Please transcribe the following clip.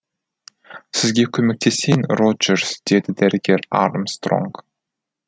сізге көмектесейін роджерс деді дәрігер армстронг